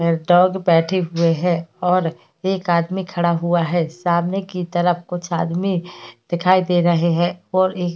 एक डॉग बैठे हुए हैं और एक आदमी खड़ा हुआ है सामने की तरफ कुछ आदमी दिखाई दे रहे हैं और एक --